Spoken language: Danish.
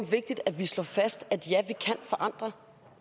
vigtigt at vi slår fast